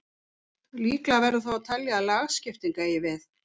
Líklegra verður þó að telja að lagskipting eigi við.